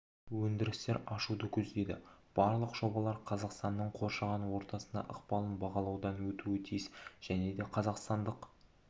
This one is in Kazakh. өндірістер ашуды көздейді барлық жобалар қазақстанның қоршаған ортасына ықпалын бағалаудан өтуі тиіс және де қазақстандық